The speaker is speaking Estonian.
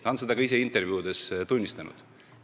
Ta on seda ka ise intervjuudes tunnistanud.